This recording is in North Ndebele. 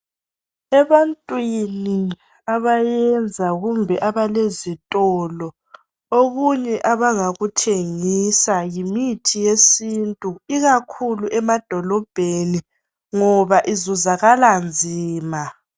Ebantwini abayenza kumbe abalezitolo ,okunye abangakuthengisa yimithi yesintu ikakhulu emadolobheni. Ngoba izuzakala nzima.